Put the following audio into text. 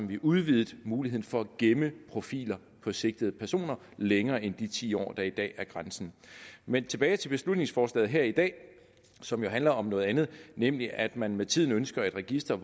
vi udvidede muligheden for at gemme profiler på sigtede personer længere end de ti år der i dag er grænsen men tilbage til beslutningsforslaget her i dag som jo handler om noget andet nemlig at man med tiden ønsker et register